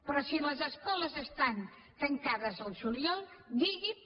però si les escoles estan tancades el juliol digui’m